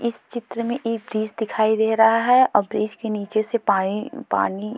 इस चित्र में एक ब्रिज दिखाई दे रहा है और ब्रिज के नीचे से पाई पानी --